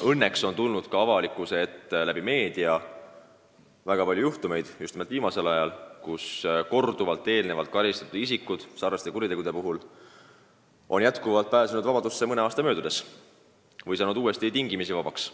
– õnneks on need tänu meediale avalikkuse ette jõudnud – väga palju viimase aja juhtumeid, kus korduvalt samasuguse teo eest karistatud isikud on mõne aasta möödudes vabadusse pääsenud, saanud uuesti tingimisi vabaks.